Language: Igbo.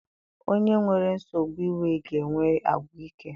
Onye nwere nsogbu iwe ga-enwe àgwà ike.